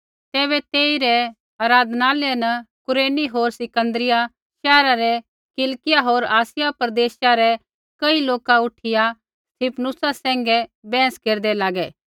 तैबै तेसा रै आराधनालय न कुरेनी होर सिकन्दरिया शैहरा रै किलिकिया होर आसिया प्रदेशा रै कई लोका उठिया स्तिफनुसा सैंघै वहस केरदै लागै